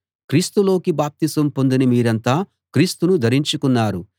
క్రీస్తులోకి బాప్తిసం పొందిన మీరంతా క్రీస్తును ధరించుకున్నారు